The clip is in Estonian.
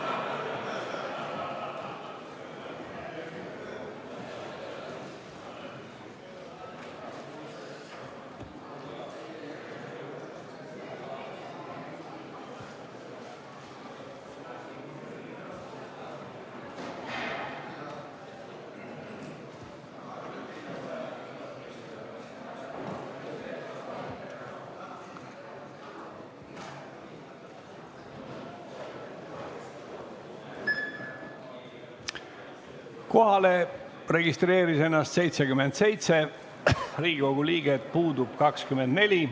Kohaloleku kontroll Kohalolijaks registreeris ennast 77 Riigikogu liiget, puudub 24.